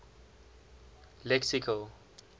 lexical